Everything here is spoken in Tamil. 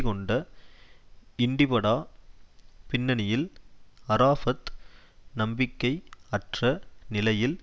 கொண்ட இன்டிபடா பின்னணியில் அரஃபாத் நம்பிக்கை அற்ற நிலையில்